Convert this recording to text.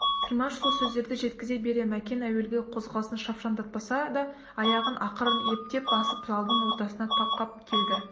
тілмаш сол сөздерді жеткізе бере мәкен әуелгі қозғалысын шапшаңдатпаса да аяғын ақырын ептеп басып залдың ортасына тақап келді